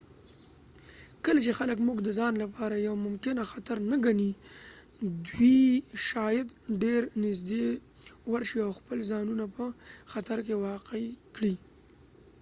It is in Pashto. کله چې خلک موږ د ځان لپاره یو ممکنه خطر نه ګڼی دوي شاید ډیر نږدې ورشي او خپل ځانونه په خطر کې واقع کړي